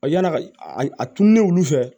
Yann'a ka a tununen olu fɛ